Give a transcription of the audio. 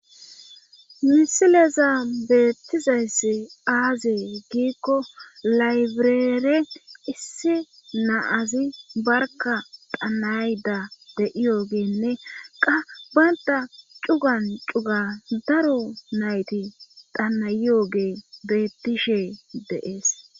misileza beettizayssi aaze giikko laybireere issi na'azi barka dhanayda de7iyoogeenne qa baynta cugan cuga daro nayti tanayiyooge beettishe deees